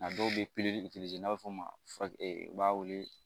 A dɔw bɛ piri n'a b'a fɔ ma u b'a wele